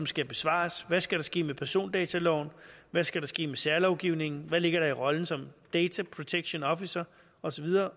skal besvares hvad skal der ske med persondataloven hvad skal der ske med særlovgivningen hvad ligger der i rollen som dataprotectionofficer og så videre